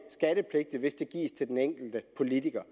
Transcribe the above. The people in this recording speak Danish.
skattepligtig hvis den gives til den enkelte politiker